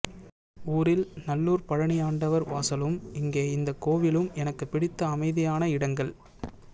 ஊரில் நல்லூர் பழனி ஆண்டவர் வாசலும் இங்கே இந்த கோவிலும் எனக்கு பிடித்த அமைதியான இடங்கள்